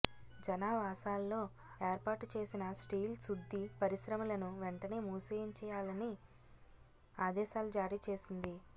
జనావాసాల్లో ఏర్పాటు చేసిన స్టీల్ శుద్ధి పరిశ్రమలను వెంటనే మూసేయించాలని ఆదేశాలు జారీచేసింది